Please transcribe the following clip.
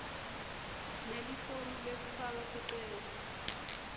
nelifomu lekufaka sicelo